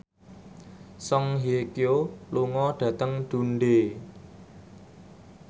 Song Hye Kyo lunga dhateng Dundee